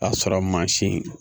A sɔrɔ mansin